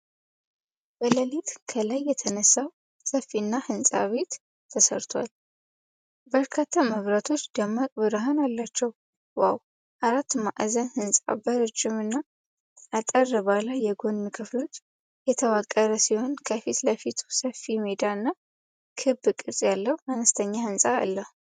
በሌሊት ከላይ የተነሳው ሰፊና ህንጻ ቤት ተሰርቷል። በርካታ መብራቶች ደማቅ ብርሃን አላቸው። ዋናው አራት ማዕዘን ሕንፃ በረጅም እና አጠር ባሉ የጎን ክፍሎች የተዋቀረ ሲሆን ከፊት ለፊቱ ሰፊ ሜዳ እና ክብ ቅርጽ ያለው አነስተኛ ሕንፃ አለው።